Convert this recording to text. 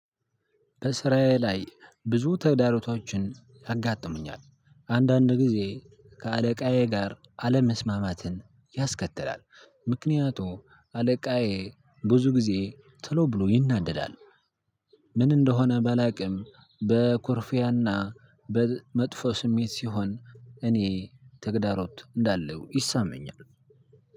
በስራዬ ላይ ብዙ ተግዳሮቶችን ያጋጥሙኛል አንዳንድ ጊዜ ከአለቃዬ ጋር አለመስማማትን ያስከትላል። ምክንያቱም አለቃዬ ብዙ ጊዜ ቶሎ ብሎ ይናደዳል። ምን እንደሆነ ባላቅም በኩርፊያ እና በመጥፎ ስሜት ሲሆን እኔ ተግዳሮት እንዳለው ይሰማኛል።